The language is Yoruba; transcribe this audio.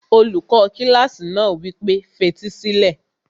Olùkọ́ kílásì náà wí pé, fetí sílẹ̀!